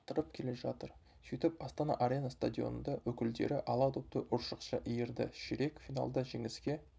арттырып келе жатыр сөйтіп астана арена стадионында өкілдері ала допты ұршықша иірді ширек финалда жеңіске